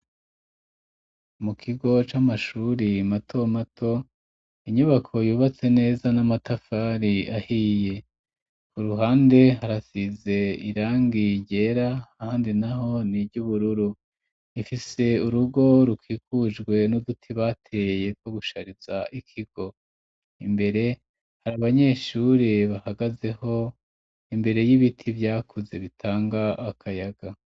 Mu kigo c'amashuri mato mato inyubako yubatse neza n'amatafari ahiye ku ruhande harasize irangi ryera ahandi naho ni ry'ubururu ifise urugo rukikujwe n'uduti bateye two gushariza ikigo imbere hari abanyeshuri bahagazeho imbere y'ibiti vyakuze bitanga akayaga.